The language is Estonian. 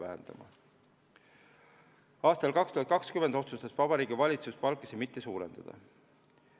Aastal 2020 otsustas Vabariigi Valitsus palkasid mitte suurendada.